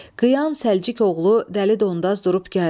Qıyan Səlcik oğlu Dəli Dondaz durub gəldi.